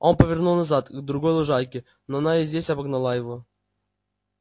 он повернул назад к другой лужайке но она и здесь обогнала его